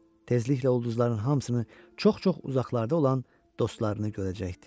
Tezliklə ulduzların hamısını çox-çox uzaqlarda olan dostlarını görəcəkdi.